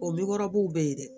O lugurabuw be yen dɛ